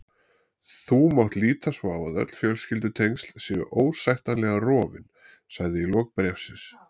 Þú mátt líta svo á að öll fjölskyldutengsl séu ósættanlega rofin, sagði í lok bréfsins.